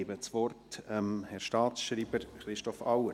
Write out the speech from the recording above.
Ich gebe das Wort dem Herrn Staatsschreiber Christoph Auer.